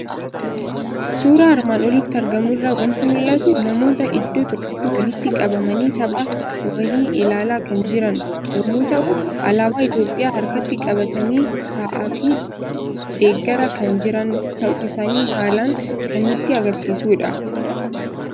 Suuraa armaan olitti argamu irraa waanti mul'atu; namoota iddoo tokkotti walitti qabamanii tapha wahi ilaala kan jiran yommuu ta'u, Alaaba Itoophiyaa harkatti qabatanii taa'aafi deggaraa kan jiran ta'uu isaani haalan kan nutti agarsiisudha.